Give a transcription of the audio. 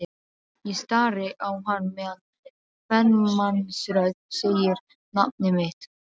Ég stari á hann meðan kvenmannsrödd segir nafnið mitt.